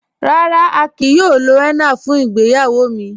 Rárá, à kíí yòò lò hénnà fún ìgbéyàwó mi..